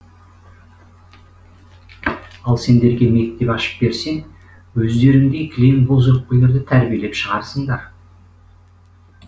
ал сендерге мектеп ашып берсең өздеріндей кілең боз өкпелерді тәрбиелеп шығарсыңдар